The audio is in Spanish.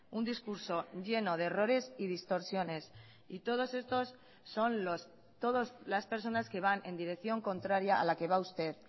un discurso lleno de errores y distorsiones y todos estos son todas las personas que van en dirección contraria a la que va usted